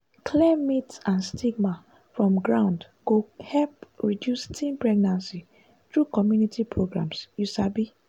clear myth and stigma from ground go help reduce teen pregnancy through community programs you sabi?